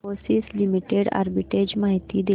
Infosys limited arbitrage माहिती दे